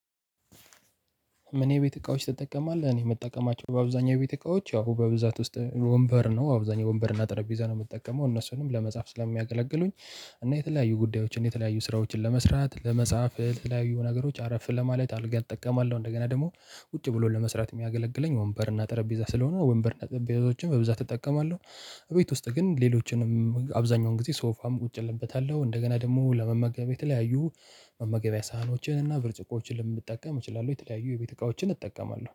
እኔ ቤት እቃዎች ትጠቀማለህ እኔ ምጠቀማቸው በአብዛኛው ቤት እቃዎች ያው በብዛት ውስጥ ወንበር ነው አብዛኛው ወንበር እና ጠረጴዛ ነው የምጠቀመው እነሱንም ለመጻፍ ስለሚያገለግሉኝ እና የተለያዩ ጉዳዮችን የተለያዩ ስራዎችን ለመስራት ለመጻፍ ለተለያዩ ነገሮች አረፍ ለማለት አልጋ እጠቀማለሁ እንደገና ደግሞ ቁጭ ብሎ ለመስራት የሚያገለግለኝ ወንበርና ጠረጴዛ ስለሆነ ወንበርና ጠረጴዛዎችም በብዛት እጠቀማለሁ። ቤት ውስጥ ግን ሌሎችንም አብዛኛውን ጊዜ ሶፋም ቁጭ እልበታለሁ እንደገና ደግሞ ለመመገቢያ የተለያዩ መመገቢያ ሳህኖችን እና ብርጭቆችን ልንጠቀም እችላለሁ የተለያዩ የቤት እቃዎችን እጠቀማለሁ